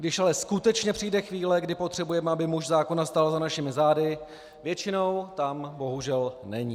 Když ale skutečně přijde chvíle, kdy potřebujeme, aby muž zákona stál za našimi zády, většinou tam bohužel není.